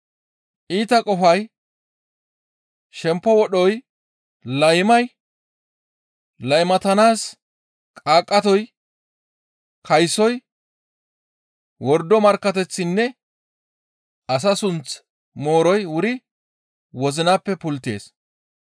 Iita qofay, shempo wodhoy, laymay, laymatanaas qaaqqatoy, kaysoy, wordo markkateththinne asa sunth mooroy wuri wozinappe pulttees.